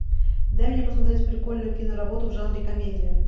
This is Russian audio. дай мне посмотреть прикольную киноработу в жанре комедия